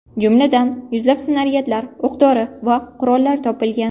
Jumladan, yuzlab snaryadlar, o‘q-dori va qurollar topilgan.